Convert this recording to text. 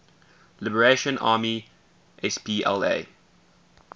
liberation army spla